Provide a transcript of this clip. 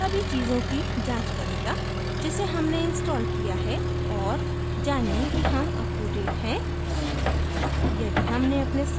drupal अब सभी चीजों की जाँच करेगा जिसे हमने installed किया है और जानें कि हम अपtodate हैं